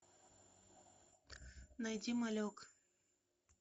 найди малек